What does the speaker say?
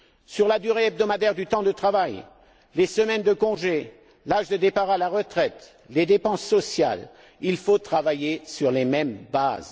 Sur la durée hebdomadaire du temps de travail, les semaines de congé, l'âge de départ à la retraite, les dépenses sociales, il faut travailler sur les mêmes bases.